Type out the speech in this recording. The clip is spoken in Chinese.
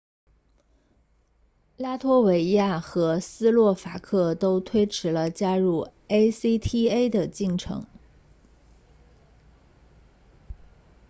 拉脱维亚和斯洛伐克都推迟了加入 acta 的进程